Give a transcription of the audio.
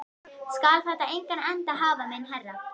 Skal þetta engan endi hafa minn herra?